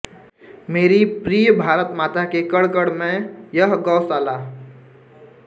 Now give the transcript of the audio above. मेरी प्रिय भारत माता के कण कण मैं यह गोशाला